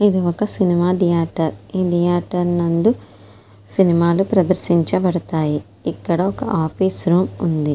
ఇది ఒక cinema theatre . ఈ థియేటర్ నందు సినిమాలు ప్రదర్శించబడతాయి. ఇక్కడ ఒక ఆఫీస రూము ఉంది.